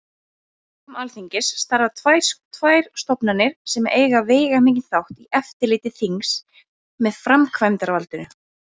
Á vegum Alþingis starfa tvær stofnanir sem eiga veigamikinn þátt í eftirliti þingsins með framkvæmdarvaldinu.